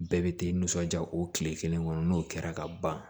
Bɛɛ bɛ tɛ nisɔndiya o tile kelen kɔnɔ n'o kɛra ka ban